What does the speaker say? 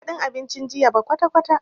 Banji dadin abincin jiya ba kwatakwata.